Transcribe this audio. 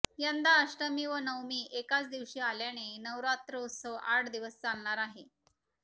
यंदा अष्टमी व नवमी एकाच दिवशी आल्याने नवरात्रोत्सव आठ दिवस चालणार आहे